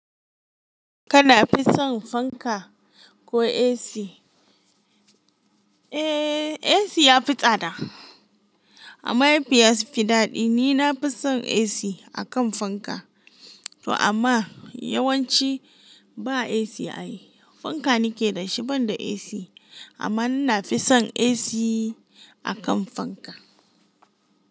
Kana fi son fanka ko AC? Eh, AC ya fi tsada amma ya fi yas fi daɗi. Ni na fi son AC akan fanka to amma yawanci ba AC ay. Fanka nake da shi ban da AC amma na fi son AC akan fanka.